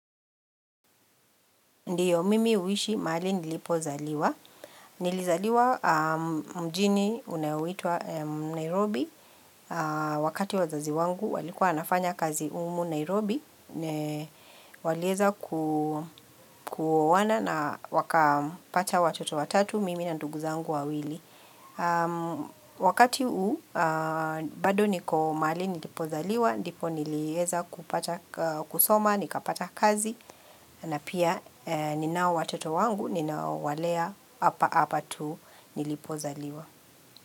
Ndiyo mimi huishi mahali nilipozaliwa. Nilizaliwa mjini unaoitwa Nairobi. Wakati wazazi wangu walikuwa wanafanya kazi humu Nairobi. Walieza kuoana na wakapata watoto watatu, mimi na ndugu zangu wawili. Wakati huu, bado niko mahali nilipozaliwa, ndipo nilieza kusoma, nikapata kazi na pia ninao watoto wangu, ninaowalea hapa hapa tu nilipozaliwa.